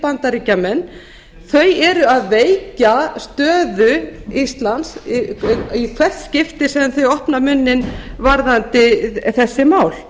bandaríkjamenn þau eru að veikja stöðu íslands í hvert skipti sem þau opna munninn varðandi þessi mál